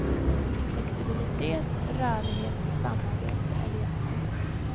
Flexibilitet, rörlighet och samarbete är ledstjärnorna.